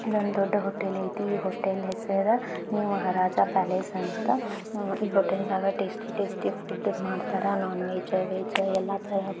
ಇದೊಂದ್ ದೊಡ್ಡ ಹೋಟೆಲ್ ಐತಿ. ಈ ಹೋಟೆಲ್ ಹೆಸರ ನ್ಯೂ ಮಹಾರಾಜಾ ಪ್ಯಾಲೇಸ್ ಅಂತ ಈ ಹೋಟೆಲ್ ನಾಗ ಟೇಸ್ಟಿ ಟೇಸ್ಟಿ ಫುಡ್ ಮಾಡ್ತಾರ ನೋನ್ ವೆಜ್ ವೆಜ್ ಎಲ್ಲಾ ತರಹ.